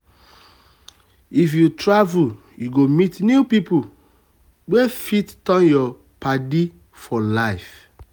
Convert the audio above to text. if you travel you go meet new people wey fit turn your padi for life.